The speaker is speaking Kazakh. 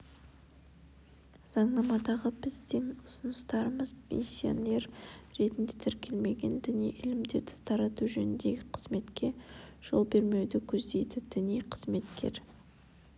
заңнамадағы біздің ұсыныстарымыз миссионер ретінде тіркелмеген діни ілімдерді тарату жөніндегі қызметке жол бермеуді көздейді діни қызмет